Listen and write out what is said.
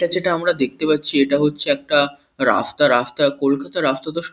এটা যেটা আমরা দেখতে পাচ্ছি এটা হচ্ছে একটা রাস্তা। রাস্তা কলকাতার রাস্তা ।